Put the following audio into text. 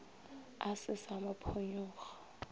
a se sa mo phonyokga